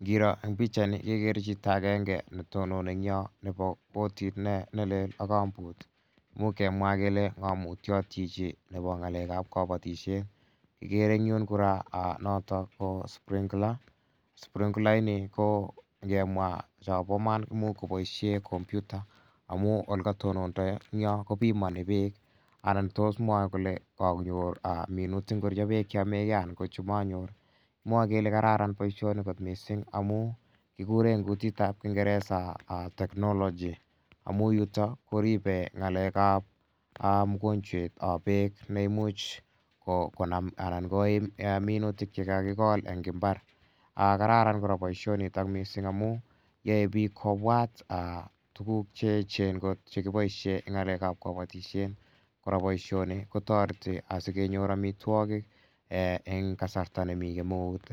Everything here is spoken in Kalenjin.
Ngiro eng' pichaini kekere chito agenge ne tononi eng' yo nepo kotit ne lel ak kambut. Imuch kemwa kele ng'amutiat chichi nepo ng'alekap kapatishet. Kikere eng' yun kora notok ko sprinkler. Srinkler ini ko ngemwa chapa iman ko imuch kopoishe kompyuta amu ole katononda eng' yo kopimani peek anan tos mwae kole kakonyor minutik ngorcho peek che yame gei anan ko cha manyor. Kimwae kele kararan poishoni missing' amu kikure eng' kutit ap kingeresa technology amu yutok koripei ng'alek ap mokonchwetap pek ne imuch konam anan koim minutik che kakikol ng' imbar. Kararan kora poishonutok amu yae pik kopwat tuguk che echen kot che kipoishen eng' ng'alek ap kapatishet. Kora poishoni ko tareti asukenyor amitwogik eng' kasarta nemi kemeut.